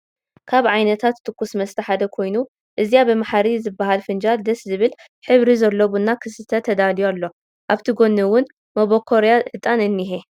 ካብ ዓይነታት ትኩስ መስተ ሓደ ኮይኑ እዚኣ ብማሓሪ ዝበሃል ፍጃል ደስ ዝብል ሕብሪ ዘሎ ቡና ክስተ ተዳልዩ ኣሎ ኣብቲ ጎኒ እውን ሞቦኮርያ ዕጣን እኒሄ።